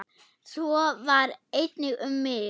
Svo var einnig um mig.